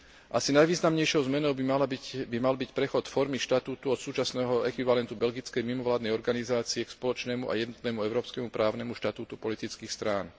Asi najvýznamnejšou zmenou by mal byť prechod formy štatútu od súčasného ekvivalentu belgickej mimovládnej organizácie k spoločnému a jednotnému európskemu právnemu štatútu politických strán.